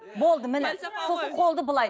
болды міне